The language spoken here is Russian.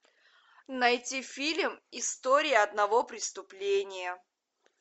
найти фильм история одного преступления